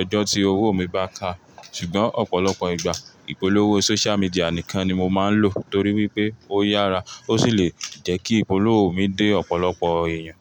ọjọ́ tí owó mi bá ká. Ṣùgbọ́n ọ̀pọ̀lọpọ̀ ìgbà, ìpolówó social media nìkan ni mo máa ń lò torí wípé ó yára ó sì lè jẹ́ kí ìpolówó mi dé ọ̀pọ̀lọpọ̀ èèyàn.